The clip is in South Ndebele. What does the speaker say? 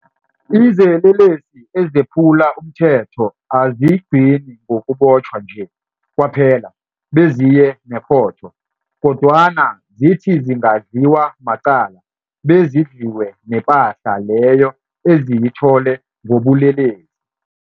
Izelelesi ezephula umthetho azigcini ngokubotjhwa nje kwaphela beziye nekhotho. Kodwana zithi zingadliwa macala bezidliwe nepahla leyo eziyithole ngobulelesi.